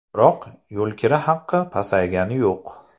Biroq yo‘lkira haqi pasaygani yo‘q.